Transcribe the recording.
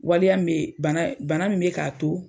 Waliya m bee bana bana min be k'a to